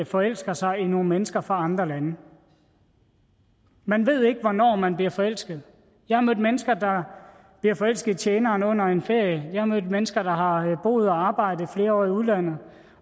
forelsker sig i nogle mennesker fra andre lande man ved ikke hvornår man bliver forelsket jeg har mødt mennesker der bliver forelsket i tjeneren under en ferie jeg har mødt mennesker der har boet og arbejdet i flere år i udlandet